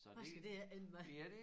Hvad skal det ikke ende med